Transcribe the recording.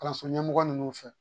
Kalanso ɲɛmɔgɔ ninnu fɛ